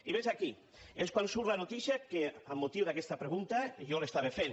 i vet aquí és quan surt la notícia que amb mo·tiu d’aquesta pregunta jo li estava fent